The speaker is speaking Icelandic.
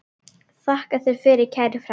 Þakka þér fyrir, kæri frændi.